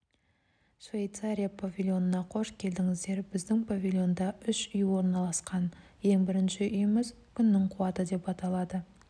швейцария павильонына қош келдіңіздер біздің павильонда үш үй орналасқан ең бірінші үйіміз күннің қуаты деп аталады